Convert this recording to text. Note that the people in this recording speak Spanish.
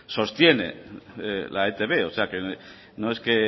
sostiene la etb no es que